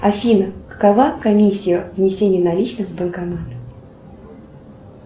афина какова комиссия внесения наличных в банкомат